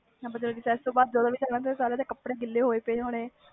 ਜਦੋ ਵੀ ਖੇਲਣਾ ਸਬ ਦੇ ਕੱਪੜੇ ਗਿਲੇ ਹੋਏ ਹੁੰਦੇ ਸੀ